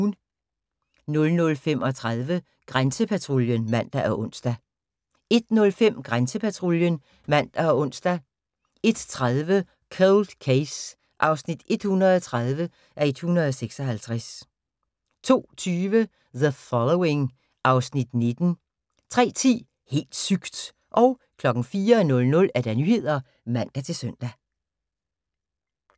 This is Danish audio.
00:35: Grænsepatruljen (man og ons) 01:05: Grænsepatruljen (man og ons) 01:30: Cold Case (130:156) 02:20: The Following (Afs. 19) 03:10: Helt sygt! 04:00: Nyhederne (man-søn)